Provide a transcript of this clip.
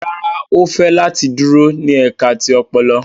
Rárá, o fẹ lati duro ni ẹka ti ọpọlọ